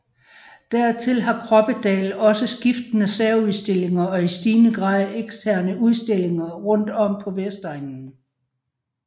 Dertil har Kroppedal også skiftende særudstillinger og i stigende grad eksterne udstillinger rundt om på Vestegnen